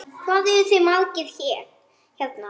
Hvað eruð þið margir hérna?